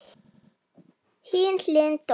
Hin hliðin dó.